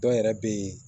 Dɔw yɛrɛ bɛ yen